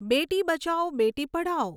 Beti Bachao Beti Padhao